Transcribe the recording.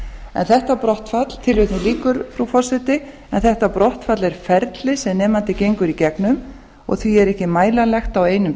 en þetta brottfall er ferli sem nemandi gengur í gegnum og því er ekki mælanlegt á einum